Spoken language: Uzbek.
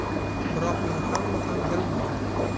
Biroq uni hamma ham bilmaydi.